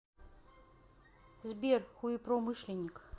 сбер хуепромышленник